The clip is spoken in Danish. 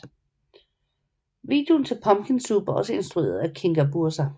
Videoen til Pumpkin Soup er også instrueret af Kinga Burza